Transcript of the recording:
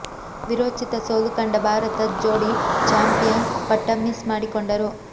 ವಿರೋಚಿತ ಸೋಲು ಕಂಡ ಭಾರತದ ಜೋಡಿ ಚಾಂಪಿಯನ್ ಪಟ್ಟ ಮಿಸ್ ಮಾಡಿಕೊಂಡರು